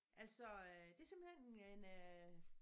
Altså øh det simpelthen en øh